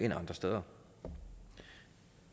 andre steder